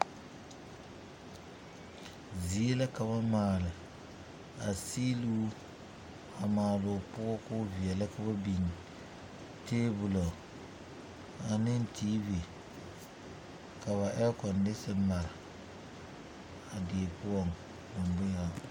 Zie la ka ba maale a siiluu a maale o poɔ ka o veɛlɛ ka ba biŋ tɛbolo ane tiivi ka ba ɛɛkondese mare a die poɔ.